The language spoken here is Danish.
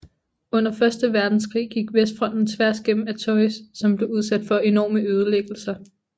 Under første verdenskrig gik vestfronten tværs gennem Artois som blev udsat for enorme ødelæggelser